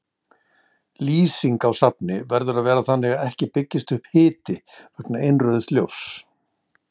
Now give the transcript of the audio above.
Lýsing á safni verður að vera þannig að ekki byggist upp hiti vegna innrauðs ljóss.